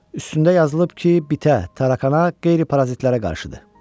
Üstündə yazılıb ki, bitə, tarakana, qeyri-parazitlərə qarşıdı.